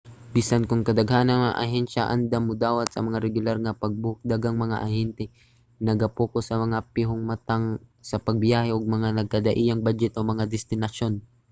bisan kon kadaghanan sa mga ahensya andam modawat sa mga regular nga pag-book daghang mga ahente ang naga-pokus sa mga pihong matang sa pagbiyahe ug mga nagkadaiyang badyet o mga destinasyon